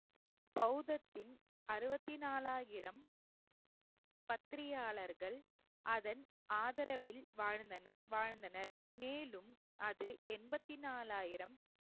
பௌத்தத்தின் அறுபத்தி நாலாயிரம் பத்திரியாளர்கள் அதன் ஆதரவில் வாழ்ந்தன~ வாழ்ந்தனர் மேலும் அது எண்பத்தி நாலாயிரம்